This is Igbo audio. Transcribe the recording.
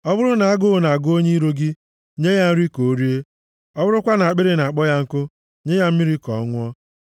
Ọ bụrụ na agụụ na-agụ onye iro gị, nye ya nri ka o rie, ọ bụrụkwa na akpịrị na-akpọ ya nkụ, nye ya mmiri ka ọ ṅụọ. + 25:21 \+xt Ọpụ 23:4-5; 2Ih 28:15; Mat 5:44\+xt*